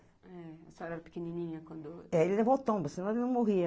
A senhora era pequenininha quando... É, ele levou tomba, se não ele não morria.